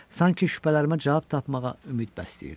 Sanki şübhələrimə cavab tapmağa ümid bəsləyirdim.